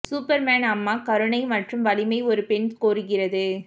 Superman அம்மா கருணை மற்றும் வலிமை ஒரு பெண் கோருகிறது